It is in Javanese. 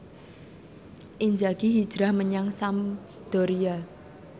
Inzaghi hijrah menyang Sampdoria